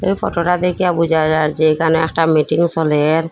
ফটোটা দেইখা বুঝা যার যে এখানে একটা মিটিং সলের।